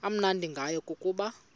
amnandi ngayo kukuba